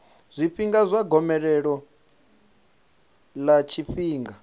zwifhinga zwa gomelelo ḽa tshifhinga